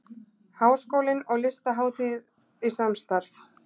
Háskólinn og Listahátíð í samstarf